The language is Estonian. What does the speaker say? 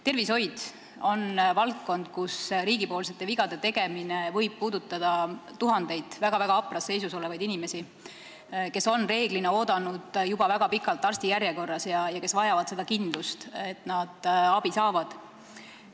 Tervishoid on valdkond, kus riigi vead võivad puudutada tuhandeid väga-väga hapras seisus olevaid inimesi, kes on üldjuhul juba väga pikalt arstijärjekorras oodanud ja kes vajavad kindlust, et nad abi saavad.